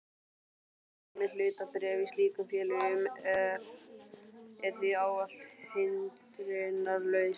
Viðskipti með hlutabréf í slíkum félögum er því ávallt hindrunarlaus.